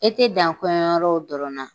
E tɛ dan kɔɲɔ yɔrɔw dɔrɔn na